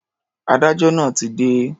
Adájọ́ náà ti dé.